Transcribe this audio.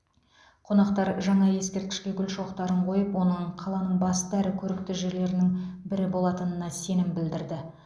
қонақтар жаңа ескерткішке гүл шоқтарын қойып оның қаланың басты әрі көрікті жерлерінің бірі болатынына сенім білдірді